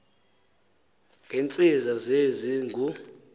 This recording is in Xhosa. ngentsiza senzi engu